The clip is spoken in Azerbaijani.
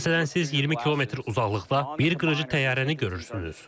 Məsələn, siz 20 kilometr uzaqlıqda bir qırıcı təyyarəni görürsünüz.